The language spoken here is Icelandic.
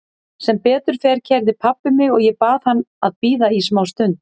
Sem betur fer keyrði pabbi mig og ég bað hann að bíða í smá stund.